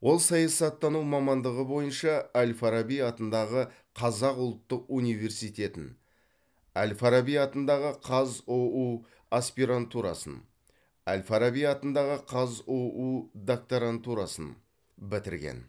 ол саясаттану мамандығы бойынша әл фараби атындағы қазақ ұлттық университетін әл фараби атындағы қазұу аспирантурасын әл фараби атындағы қазұу докторантурасын бітірген